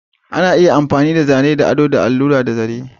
Ana iya yin ado da zane ta amfani da allura da zaren.